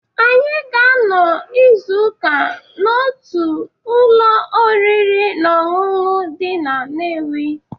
Anyị ga-anọ izu ụka n'otu ụlọ oriri na ọṅụṅụ dị na Owere.